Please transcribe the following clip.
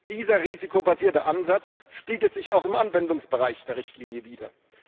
Dieser risikobasierte Ansatz spiegelt sich auch im Anwendungsbereich der Richtlinie wider.